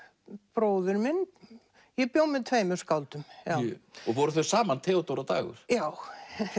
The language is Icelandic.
bróðir minn ég bjó með tveimur skáldum voru þau saman Theódóra og Dagur já